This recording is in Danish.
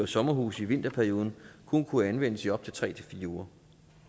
sommerhuse i vinterperioden kun kunne anvendes i op til tre fire uger